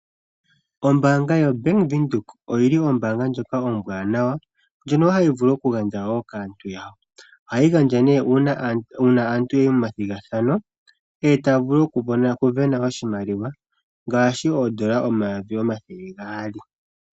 Ombaanga yaWindhoek ombaanga ombwanawa ndjono hayi vulu woo okugandja kaantu yawo. Ohayi gandja uuna aantu ya yi momathigathano e taya vulu okusindana oshimaliwa ngaashi oodola omayovi omathele gaali.